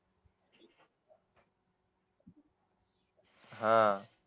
आह